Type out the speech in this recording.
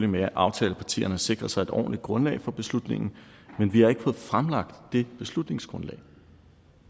med at aftalepartierne sikrer sig et ordentligt grundlag for beslutningen men vi har ikke fået fremlagt det beslutningsgrundlag